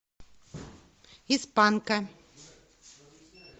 из панка